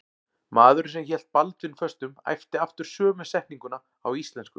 Maðurinn sem hélt Baldvin föstum æpti aftur sömu setninguna á íslensku.